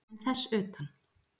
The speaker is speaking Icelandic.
En þess utan?